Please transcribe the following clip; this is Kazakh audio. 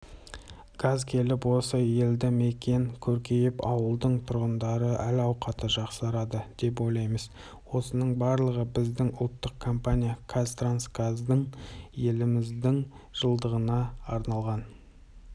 газ келіп осы елді мекен көркейіп ауылдың тұрғындары әл-ауқаты жақсарады деп ойлаймыз осының барлығы біздің ұлттық компания қазтрансгаздың еліміздің жылдығына арналған